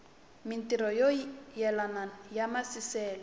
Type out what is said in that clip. mintirho yo yelana ya maasesele